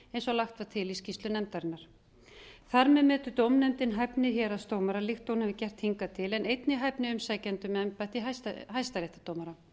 eins og lagt var til í skýrslu nefndarinnar þar með metur dómnefndin hæfni héraðsdómara líkt og hún hefur gert hingað til en einnig hæfni umsækjenda um embætti hæstaréttardómara